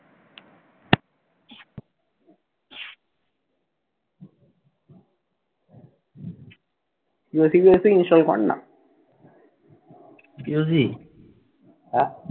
install কর না?